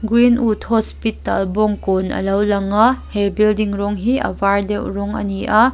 green wood hospital bawngkawn a lo lang a he building rawng hi a var deuh rawng a ni a.